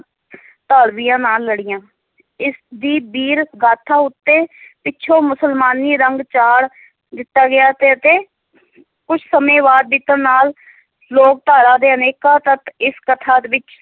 ਧਾੜਵੀਆਂ ਨਾਲ ਲੜੀਆਂ, ਇਸ ਦੀ ਵੀਰ-ਗਾਥਾ ਉੱਤੇ ਪਿੱਛੋ ਮੁਸਲਮਾਨੀ ਰੰਗ ਚਾੜ੍ਹ ਦਿੱਤਾ ਗਿਆ ਤੇ ਅਤੇ ਕੁਛ ਸਮੇਂ ਬਾਅਦ ਬੀਤਣ ਨਾਲ ਲੋਕਧਾਰਾ ਦੇ ਅਨੇਕਾਂ ਤੱਤ ਇਸ ਕਥਾ ਵਿੱਚ